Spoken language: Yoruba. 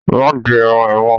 Ma di irun é mọ.